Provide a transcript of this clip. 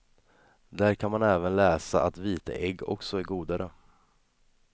Där kan man även läsa att vita ägg också är godare.